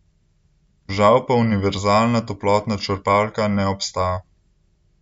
Žal pa univerzalna toplotna črpalka ne obstaja.